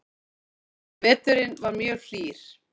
Veturinn var mjög hlýr